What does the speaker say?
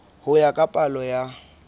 ho ya ka palo ya